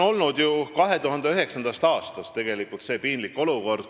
2009. aastast on meil kestnud piinlik olukord.